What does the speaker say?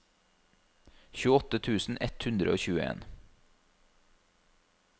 tjueåtte tusen ett hundre og tjueen